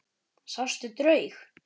Sástu draug?